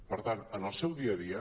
per tant en el seu dia a dia